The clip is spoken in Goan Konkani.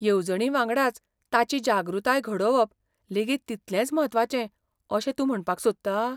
येवजणीवांगडाच ताची जागृताय घडोवप लेगीत तितलेंच म्हत्वाचें अशें तूं म्हणपाक सोदता?